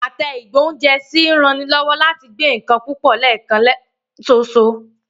Àtẹ ìgbóúnjẹsí ń ranilọ́wọ́ láti gbé nǹkan púpọ̀ lẹ́ẹ̀kan ṣoṣo